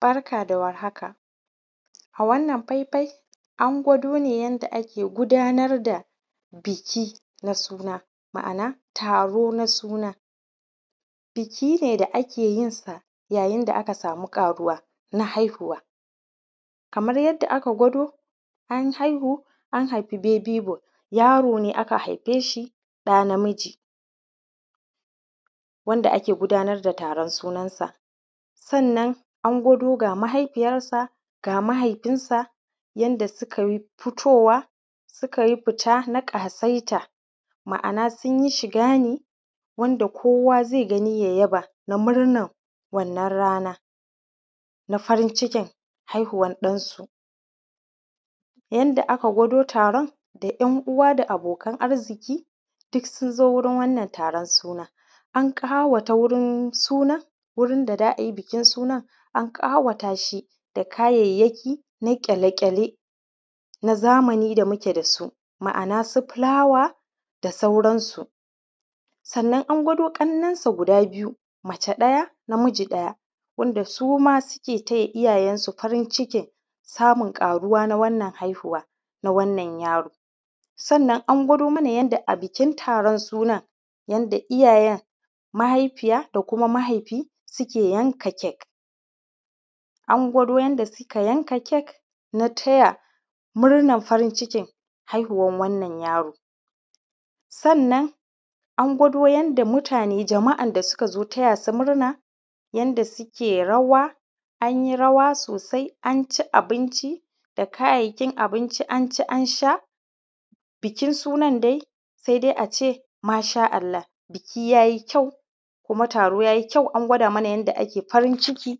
Barka da warhaka. A wannan faifai an gwado ne yanda a ke gudnar da biki na suna, ma’ana taro na suna. Biki ne da ake yin sa yayin da aka samu ƙaruwa na haihuwa. Kamar yadda a ka kwado, an haihu, an haibi babi boy, yaro ne aka haife shi, ɗa na miji, wanda ake gudnar da taron sunan sa. Sannan an gudo ga mahaifiyansa, ga mahaifinsa, yanda su kayi fitowa, su ka yi fita na ƙasa’ita, ma’ana sun yi shiga ne wanda kowa ze gani, ya yaba na murnan wannan rana na farin cikin haihuwan ɗansu. Yanda a ka kwado taron, ɗan-uwa da abokan arziki dukkan sun zo wurin wannan taron suna. An ƙawatsa wurin suna, wurin da za a yi taron wannan suna, an ƙawata shi da kayayaki na kyale-kyale na zamani da muke da su, ma’ana su filawa da sauransu. Sannan an gwado ƙanninsa guda biyu, mace ɗaya, na miji ɗaya, wanda suma suke taya iyayensu wajen farin cikin samun ƙaruwa na wannan haihuwa na wannan yaro. Sannan an gwado mana yanda a bikin taron sunan, yanda iyayen mahaifiya da kuma mahaifi suke yanka kek. An gwado yanda suka yanka kek na taya murnan farin cikin haihuwan wannan yaro. Sannan an gwado yanda mutane, jama’a, da su gazo taya su murna, yanda suke rawa. An yi rawa sosai, an ci abinci da kayayakin abinci, an ci, an sha. Bikin sunan dai, sai dai ace: “washa Allah! Biki yayi kyau, kuma taro ya yi kyau.” An gwado mana yanda ake farin cikin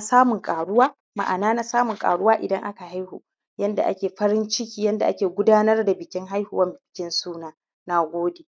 samun ƙaruwa, ma’ana samun ƙaruwa idan aka haihu, yanda ake farin ciki, yanda ake gudnar da bikin haihuwan bikin suna. Na gode.